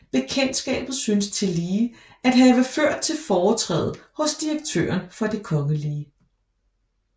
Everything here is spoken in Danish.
Bekendtskabet synes tillige at have ført til foretræde hos direktøren for Det kgl